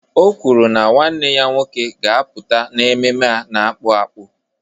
O kwuru na nwanne ya nwoke ga-apụta n'ememme a n'akpụ akpụ